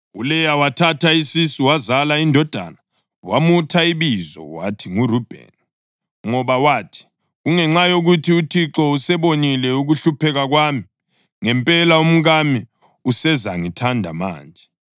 ULeya wathatha isisu wazala indodana. Wamutha ibizo wathi nguRubheni, ngoba wathi, “Kungenxa yokuthi uThixo usebonile ukuhlupheka kwami. Ngempela umkami usezangithanda manje.”